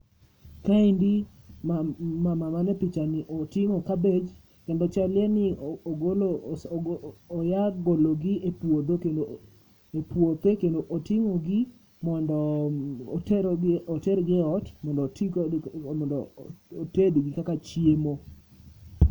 Ka endi mama ma ni e picha ni oting'o kabich kendo chal ni ogolo oya golo gi e puothe kendo oting'o gi mondo otero oter gi e ot mondo oti kod gi oted gi kaka chiemo.